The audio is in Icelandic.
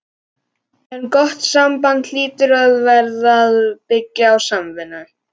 En gott samband hlýtur að verða að byggja á samvinnu.